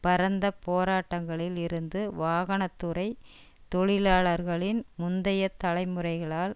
பரந்த போராட்டங்களில் இருந்து வாகன துறை தொழிலாளர்களின் முந்தைய தலைமுறைகளால்